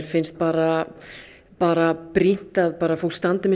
finnst bara bara brýnt að fólk standi með